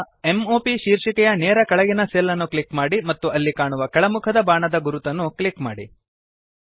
ಈಗ m o ಪ್ ಶೀರ್ಷಿಕೆಯ ನೇರ ಕೆಳಗಿನ ಸೆಲ್ ಅನ್ನು ಕ್ಲಿಕ್ ಮಾಡಿ ಮತ್ತು ಅಲ್ಲಿ ಕಾಣುವ ಕೆಳಮುಖದ ಬಾಣದ ಗುರುತನ್ನು ಕ್ಲಿಕ್ ಮಾಡಿ